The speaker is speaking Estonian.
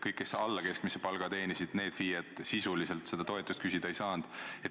Kõik FIE-d, kes teenisid alla keskmise palga, sisuliselt seda toetust küsida ei saanud.